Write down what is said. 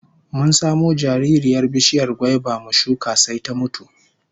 Mun samo jaririyar bishiyar gwaiba mu shuka sai ta mutu